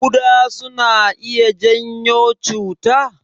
Kuɗa suna iya janyo cuta?